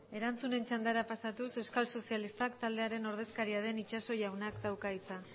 erantzunen txandara pasatuz euskal sozialistak taldearen ordezkaria den itxaso jaunak dauka hitza